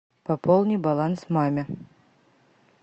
пополни баланс маме